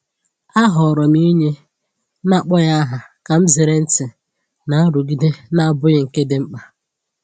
Ahọọrọ m inye n’akpọghị aha ka m zere ntị na nrụgide na-abụghị nke dị mkpa.